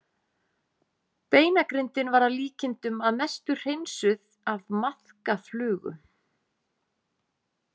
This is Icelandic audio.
Beinagrindin var að líkindum að mestu hreinsuð af maðkaflugu.